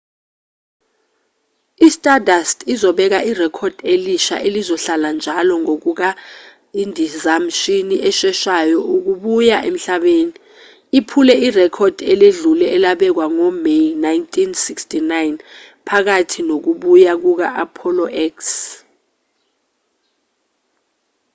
i-stardust uzobeka irekhodi elisha elizohlala-njalo ngokuba indizamshini esheshayo ukubuya emhlabeni iphule irekhodi eledlule elabekwa ngo-may 1969 phakathi nokubuya kuka-apollo x